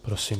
Prosím.